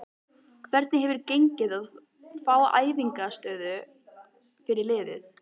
Hvernig hefur gengið að fá æfingaaðstöðu fyrir liðið?